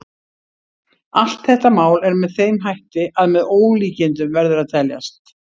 Allt þetta mál er með þeim hætti að með ólíkindum verður að teljast.